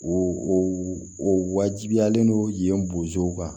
O o o wajibiyalen no yen bozow kan